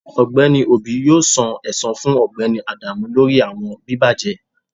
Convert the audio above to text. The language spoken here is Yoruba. Ọgbẹni obi yoo san ẹsan fun Ọgbẹni adamu lori awọn bibajẹ